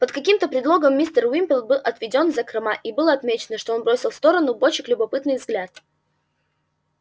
под каким-то предлогом мистер уимпер был отведён в закрома и было отмечено что он бросил в сторону бочек любопытный взгляд